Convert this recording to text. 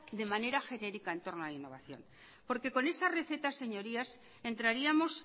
de manera genérica en torno a la innovación porque con esa receta señorías entraríamos